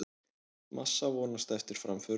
Massa vonast eftir framförum